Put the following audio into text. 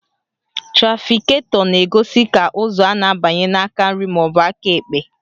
Trafiketọ na-egosi ka ụzọ a na-abanye n'aka nri maọbụ aka ekpe